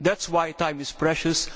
That is why time is precious.